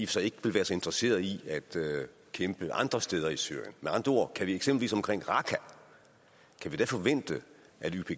sig ikke vil være så interesserede i at kæmpe andre steder i syrien med andre ord kan vi eksempelvis omkring raqqa forvente at ypg